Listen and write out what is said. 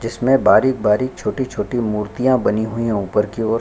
जिसमे बारीक़-बारीक़ छोटी-छोटी मूर्तिया बनी है ऊपर की ओर--